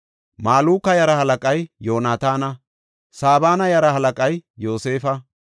Maluka yaraa halaqay Yoonataana. Sabana yaraa halaqay Yoosefa.